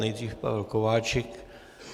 Nejdříve Pavel Kováčik.